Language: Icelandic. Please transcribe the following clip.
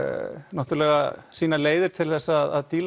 náttúrulega sínar leiðir til þess að